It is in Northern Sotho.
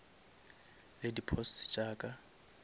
le di posts tša ka